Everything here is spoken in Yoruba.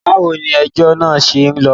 Báwo ni ejọ́ náà ṣe ń lọ?